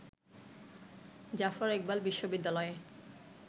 জাফর ইকবাল বিশ্ববিদ্যালয়ের